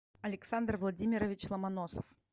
александр владимирович ломоносов